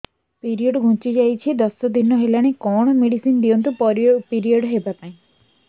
period ଘୁଞ୍ଚି ଯାଇଛି ଦଶ ଦିନ ହେଲାଣି କଅଣ ମେଡିସିନ ଦିଅନ୍ତୁ ପିରିଅଡ଼ ହଵା ପାଈଁ